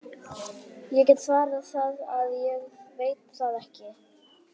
Ég get svarið það að ég veit það ekki.